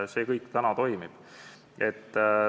See kõik toimib.